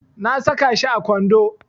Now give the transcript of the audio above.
Na saka shi a kwando.